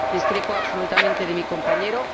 Discrepo absolutamente de mi compañero.